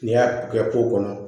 N'i y'a kɛ kɔnɔ